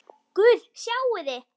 Guð, sjáiði!